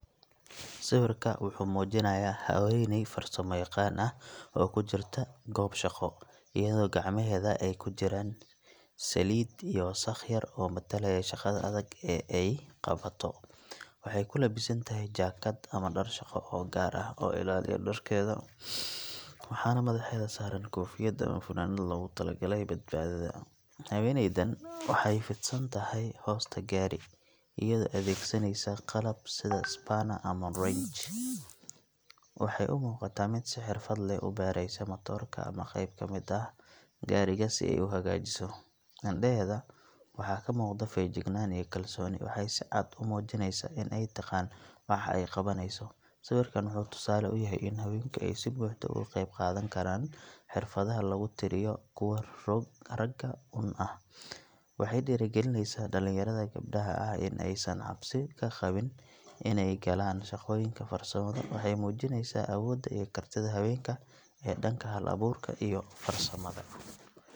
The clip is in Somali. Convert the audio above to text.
Sawirka wuxuu muujinayaa haweeney farsamo yaqaan ah oo ku jirta goob shaqo, iyadoo gacmaheeda ay ku jiraan saliid iyo wasakh yar oo matalaya shaqada adag ee ay qabato. Waxay ku labisan tahay jaakad ama dhar shaqo oo gaar ah, oo ilaaliya dharkeeda, waxaana madaxeeda saaran koofiyad ama funaanad loogu talagalay badbaadada. Haweeneydan waxay fidsan tahay hoosta gaari, iyadoo adeegsanaysa qalab sida panner ama wrench. Waxay u muuqataa mid si xirfad leh u baadhaysa matoorka ama qayb ka mid ah gaadhiga si ay u hagaajiso. Indhaheeda waxaa ka muuqda feejignaan iyo kalsooni – waxay si cad u muujinaysaa in ay taqaan waxa ay qabanayso. Sawirkan wuxuu tusaale u yahay in haweenku ay si buuxda uga qayb qaadan karaan xirfadaha lagu tiriyo kuwo ragga uun ah. Waxay dhiirrigelinaysaa dhalinyarada gabdhaha ah in aysan cabsi ka qabin inay galaan shaqooyinka farsamada, waxayna muujinaysaa awoodda iyo kartida haweenka ee dhanka hal-abuurka iyo farsamada.